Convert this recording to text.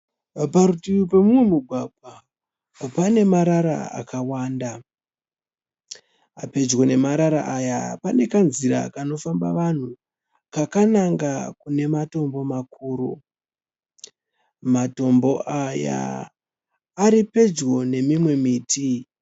Parutivi pomumwe mugwagwa pane marara akawanda. Pedyo nemarara aya pane kanzira kanofamba vanhu kakananga kune matombo makuru. Matombo aya aripedyo nemimwe miti.